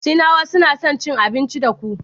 Sinawa suna son cin abincin teku.